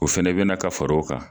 O fɛnɛ be na ka fara o kan.